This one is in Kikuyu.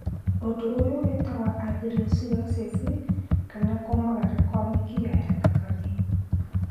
ũndu ũyũ wĩtagwo atherosclerosis kana kũmagara kwa mĩkiha ya thakame